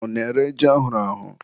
ọ na-ere ji ahụrụ ahụ